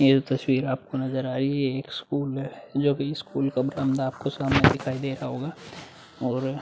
ये जो तस्वीर आपको नजर आई। ये एक स्कूल है। जोकि स्कूल का बरामदा आपको सामने दिखाई दे रहा होगा। और --